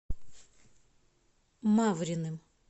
мавриным